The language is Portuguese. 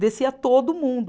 Descia todo mundo.